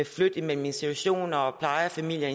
flytte imellem institutioner og plejefamilier